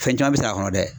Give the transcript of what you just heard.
Fɛn caman bɛ s'a kɔnɔ dɛ